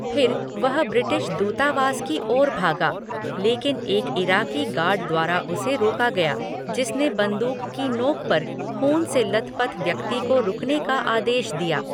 फिर वह ब्रिटिश दूतावास की ओर भागा, लेकिन एक इराकी गार्ड द्वारा उसे रोका गया, जिसने बंदूक की नोक पर ख़ून से लथपथ व्यक्ति को रुकने का आदेश दिया।